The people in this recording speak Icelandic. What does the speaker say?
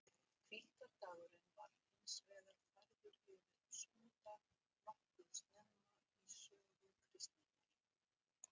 Hvíldardagurinn var hins vegar færður yfir á sunnudag nokkuð snemma í sögu kristninnar.